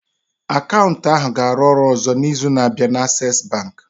Akaụntụ ahụ ga-arụ ọrụ ọzọ n'izu na-abịa na Access Bank